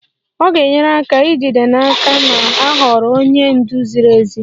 Ọ ga-enyere aka ijide n'aka na a họọrọ onye ndu ziri ezi.